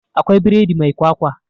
Akwai biredi mai kwakwa